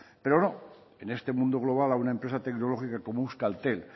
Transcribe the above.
pero no en este mundo global a una empresa tecnológica como euskaltel